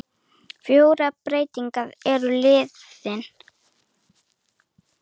Fjórar breytingar eru á liðinu.